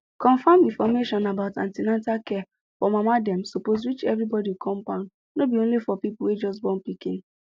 confam information about an ten atal care for mama dem suppose reach everybody compound no be only for people wey just born pikin